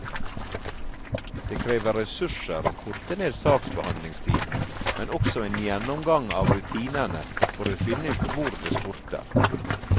Det krever ressurser å korte ned saksbehandlingstiden, men også en gjennomgang av rutinene for å finne ut hvor det skorter.